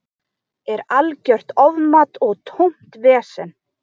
Er algjört ofmat og tómt vesen.